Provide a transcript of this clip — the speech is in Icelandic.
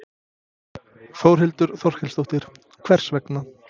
Þórhildur Þorkelsdóttir: Hvers vegna?